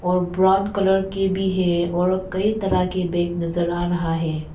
और brown colour की भी है और कई तरह की बैग नजर आ रहा है।